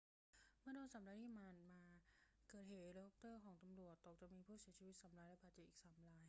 เมื่อต้นสัปดาห์ที่ผ่านมา เกิดเหตุเฮลิคอปเตอร์ของตำรวจตกจนมีผู้เสียชีวิต 3 รายและบาดเจ็บอีก 3 ราย